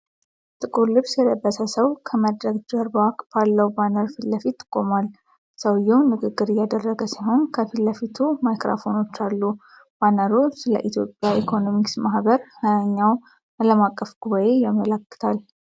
ጥቁር ልብስ የለበሰ ሰው ከመድረክ ጀርባ ባለው ባነር ፊት ለፊት ቆሟል። ሰውዬው ንግግር እያደረገ ሲሆን፣ ከፊት ለፊቱ ማይክሮፎኖች አሉ። ባነሩ ስለ ኢትዮጵያ ኢኮኖሚክስ ማህበር 20ኛው ዓለም አቀፍ ጉባኤ ያመለክታል።